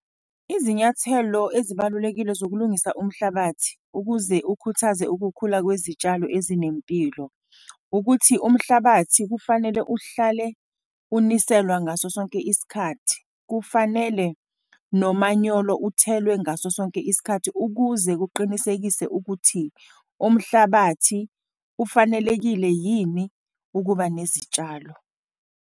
Izinyathelo ezibalulekile zokulungisa umhlabathi ukuze ukhuthaze ukukhula kwezitshalo ezinempilo, ukuthi umhlabathi kufanele uhlale uniselwa ngaso sonke isikhathi. Kufanele nomanyolo uthelwe ngaso sonke isikhathi, ukuze kuqinisekiswe ukuthi umhlabathi ufanelekile yini ukuba nezitshalo.